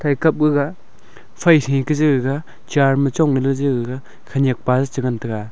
kai kap gaga phai thai kega je je chair ma chong le gaga khenek pa a che ngan tega.